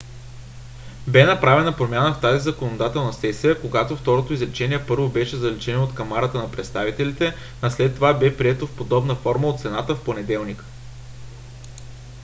бе направена промяна в тази законодателна сесия когато второто изречение първо беше заличено от камарата на представителите а след това бе прието в подобна форма от сената в понеделник